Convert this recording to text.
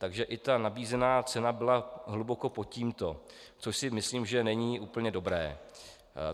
Takže i ta nabízená cena byla hluboko pod tímto, což si myslím, že není úplně dobré.